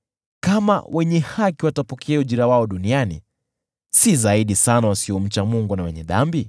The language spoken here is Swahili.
Kama wenye haki watapokea ujira wao duniani, si zaidi sana yule asiyemcha Mungu na mwenye dhambi?